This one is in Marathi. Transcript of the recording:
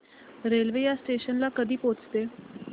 रेल्वे या स्टेशन ला कधी पोहचते